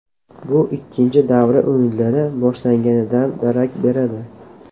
Bu ikkinchi davra o‘yinlari boshlanganidan darak beradi.